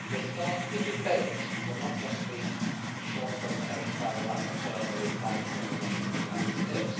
For a start, the debate will not just be a short presentation by the rapporteur, a reply from the Commission and that is it.